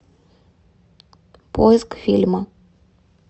поиск фильма